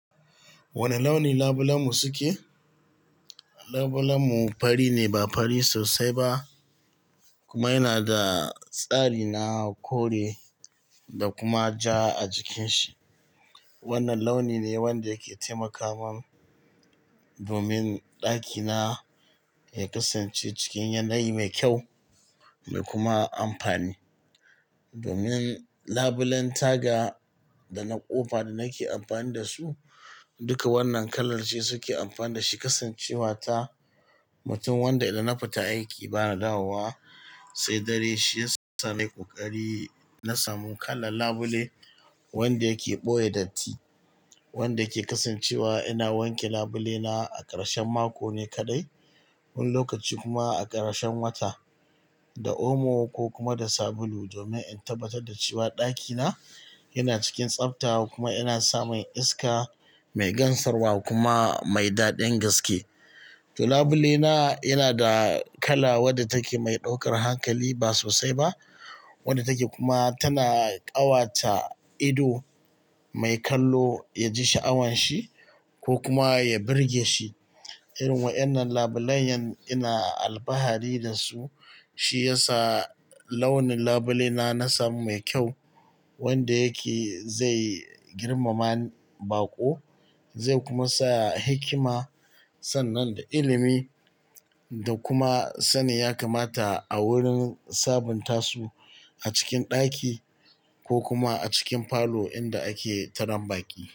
Wane launi labulen mu suke? Labule mu fari ne ba fari sosai ba kuma yana da tsari na kore da kuma ja a jikin shi. Wannan launi ne wanda yake taimakawa, domin ɗakina ya kasance cikin yanayi mai kyau da kuma amfani. Domin labulen taga da na ƙofa da nake amfani da su, duka wannan kala ce suke amfana da shi. Kasancewa ta mutum wanda idan na fita aiki bana dawowa sai dare, shi ya sa nayi ƙoƙari na samu kalan labule wanda yake ɓoye datti, wanda ke kasancewa ina wanke labule na a ƙarshen mako ne kaɗai. Wani lokaci kuma a ƙarshen wata da omo ko kuma da sabulu domin in tabbatar da cewa ɗakina yana cikin tsafta kuma ina samun iska mai gansarwa kuma mai daɗin gaske. To labule na yana da kala wadda take mai ɗaukar hankali ba sosai ba wadda take, kuma tana ƙawata ido mai kallo ya ji sha'awan shi ko kuma ya birge shi. Irin wayanan labulen yan ina alfahari da su, shi ya sa launin labule na na samu mai kyau wanda yake zai girmama baƙo, zai kuma saya hikima sannan da ilimi da kuma sanin ya kamata a wurin sabunta su a cikin ɗaki ko kuma a cikin falo inda ake taran baƙi.